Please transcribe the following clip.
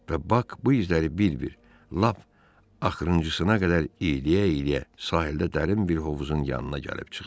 Və Bak bu izləri bir-bir, lap axırıncısına qədər iyləyə-iyləyə sahildə dərin bir hovuzun yanına gəlib çıxdı.